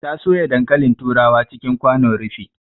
Ta soya dankalin turawa cikin kwanon rufi